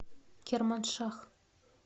керманшах